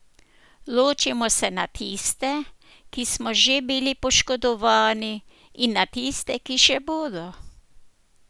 Ločimo se na tiste, ki smo že bili poškodovani, in na tiste, ki še bodo.